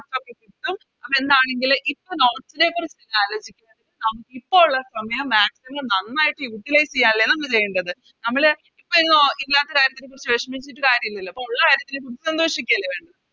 Notes ഒക്കെ കിട്ടും അപ്പോ എന്താണെങ്കിലും ഇപ്പൊ Notes നെക്കുറിച്ച് ആലോചിക്കാതെ ഇപ്പൊ ഒള്ള സമയം Maximum നന്നായിട്ട് Utilize ചെയ്യാനല്ല നമ്മള് ചെയ്യേണ്ടത് നമ്മള് ഇല്ലത്തെ കാര്യത്തിനെക്കുറിച്ച് വെഷമിച്ചിട്ട് കാര്യവില്ലല്ലോ അപ്പൊ ഒള്ള കാര്യത്തിനെക്കുറിച്ച് സന്തോഷിക്കല്ലേ വേണ്ടത്